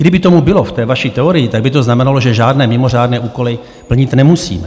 Kdyby tomu bylo v té vaší teorii, tak by to znamenalo, že žádné mimořádné úkoly plnit nemusíme.